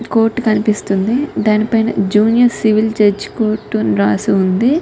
Court కనిపిస్తుంది దాని పైన జూనియర్ సివిల్ జడ్జ్ కోర్ట్ అని రాసి వుంది .